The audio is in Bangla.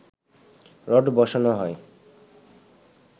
রড বসানো হয়